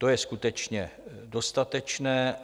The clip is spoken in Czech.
To je skutečně dostatečné.